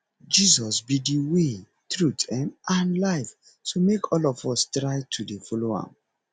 jesus be the way truth um and life so make all of us try to dey follow am